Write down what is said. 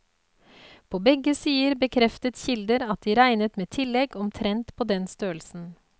På begge sider bekreftet kilder at de regnet med tillegg omtrent på den størrelsen.